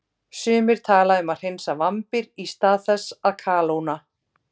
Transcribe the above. Sumir tala um að hreinsa vambir í stað þess að kalóna.